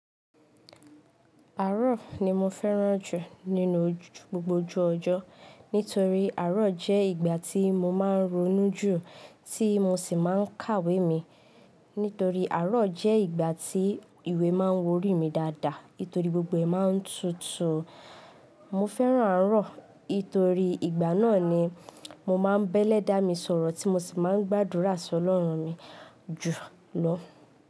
Àárò ni mo fẹ́ràn jù nínú gbogbo ojú ọjọ́. Nítorí àárò jẹ́ ìgbà tí mo máa n ronú jù, tí mo sì máa n kàwé mi. Nítorí àárọ̀ jẹ́ ìgbà tí ìwé máa n worí mi dáadáa. Nítorí gbogbo ẹ̀ máa n tutù. Mo fẹ́ràn àárọ̀, nítorí ìgbà náà ni mo máa n bẹ́lẹ̀ dá mi sọ̀rọ̀ tí mo sì máa n gbàdúrà sí Ọlọ́run mi jù lọ.